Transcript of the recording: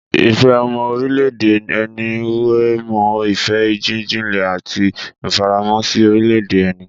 Ìfẹ́ ọmọ orílẹ̀-èdè ẹni wé mọ́ ìfẹ́ jíjinlẹ̀ àti ìfaramọ́ sí orílẹ̀-èdè ẹni.